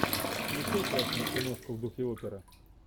включай классную киношку в духе опера